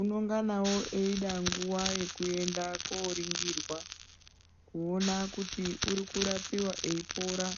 unonganawo eida nguva yeku enda ko ringirwa kuona kuti uri kurapiwa eyi pora